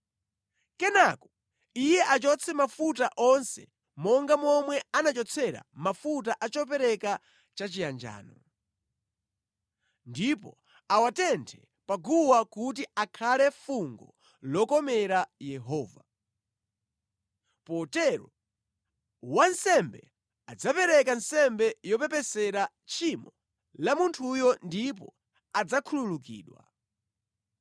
Kenaka iye achotse mafuta onse monga momwe anachotsera mafuta a chopereka chachiyanjano, ndipo awatenthe pa guwa kuti akhale fungo lokomera Yehova. Potero, wansembe adzapereka nsembe yopepesera tchimo la munthuyo ndipo adzakhululukidwa.